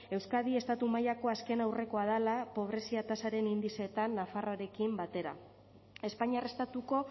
euskadi estatu mailako azken aurrekoa dela pobrezia tasaren indizeetan nafarroarekin batera espainiar estatuko